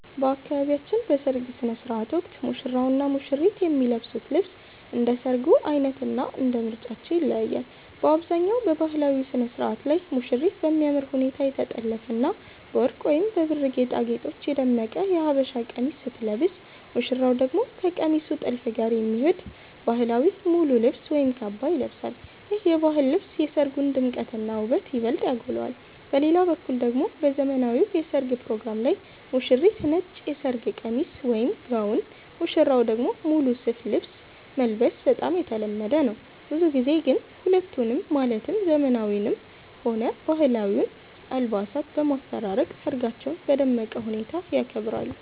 በአካባቢያችን በሰርግ ሥነ ሥርዓት ወቅት ሙሽራውና ሙሽሪት የሚለብሱት ልብስ እንደ ሰርጉ ዓይነትና እንደ ምርጫቸው ይለያያል። በአብዛኛው በባህላዊው ሥነ ሥርዓት ላይ ሙሽሪት በሚያምር ሁኔታ የተጠለፈና በወርቅ ወይም በብር ጌጣጌጦች የደመቀ የሀበሻ ቀሚስ ስትለብስ፣ ሙሽራው ደግሞ ከቀሚሱ ጥልፍ ጋር የሚሄድ ባህላዊ ሙሉ ልብስ ወይም ካባ ይለብሳል። ይህ የባህል ልብስ የሰርጉን ድምቀትና ውበት ይበልጥ ያጎላዋል። በሌላ በኩል ደግሞ በዘመናዊው የሠርግ ፕሮግራም ላይ ሙሽሪት ነጭ የሰርግ ቀሚስ (ጋውን)፣ ሙሽራው ደግሞ ሙሉ ሱፍ ልብስ መልበስ በጣም የተለመደ ነው። ብዙ ጊዜ ግን ሁለቱንም ማለትም ዘመናዊውንም ሆነ ባህላዊውን አልባሳት በማፈራረቅ ሰርጋቸውን በደመቀ ሁኔታ ያከብራሉ።